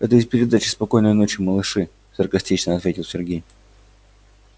это из передачи спокойной ночи малыши саркастично ответил сергей